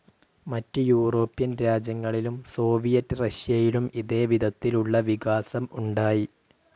മറ്റ് യൂറോപ്യൻ രാജ്യങ്ങളിലും സോവിയറ്റ്‌ റഷ്യയിലും ഇതേ വിധത്തിലുള്ള വികാസം ഉണ്ടായി.